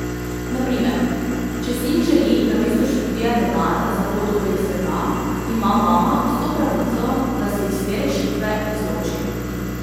Na primer, če sin želi namesto študija denar za pot okoli sveta, ima mama vso pravico, da se iz te rešitve izloči.